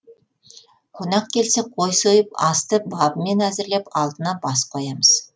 қонақ келсе қой сойып асты бабымен әзірлеп алдына бас қоямыз